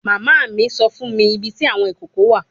Mama mi sọ fun mi ibiti awọn ikoko wa